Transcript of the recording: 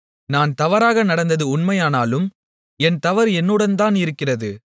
நான் தவறாக நடந்தது உண்மையானாலும் என் தவறு என்னுடன்தான் இருக்கிறது